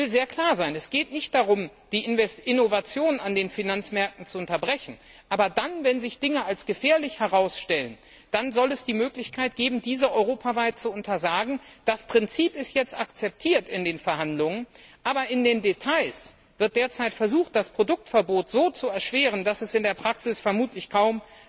Ich will sehr klar sein Es geht nicht darum, die Innovationen an den Finanzmärkten zu unterbrechen, aber wenn sich Dinge als gefährlich herausstellen, dann soll es die Möglichkeit geben, diese europaweit zu untersagen. Das Prinzip ist jetzt in den Verhandlungen akzeptiert, aber in den Details wird derzeit versucht, das Produktverbot so zu erschweren, dass es in der Praxis vermutlich